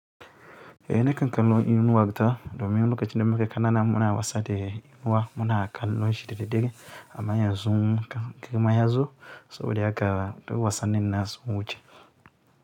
Eh na kan kallon inuwa ta domin lokacin da muke ƙanana muna wasa da inuwa muna kallon shida daddare amma yanzu muka, girma yazo saboda haka duk wasan nin na su mun wuce.